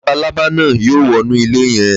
Labalábá náà yóò wọnú ilé yẹn